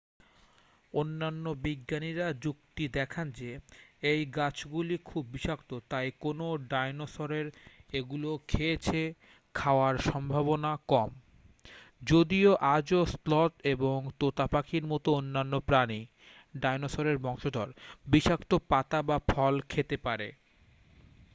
অন্যান্য বিজ্ঞানীরা যুক্তি দেখান যে এই গাছগুলি খুব বিষাক্ত তাই কোনও ডাইনোসরের এগুলো খেয়েছে খাওয়ার সম্ভাবনা কম যদিও আজও স্লথ এবং তোতা পাখির মতো অন্যান্য প্রাণী ডাইনোসরের বংশধর বিষাক্ত পাতা বা ফল খেতে পারে।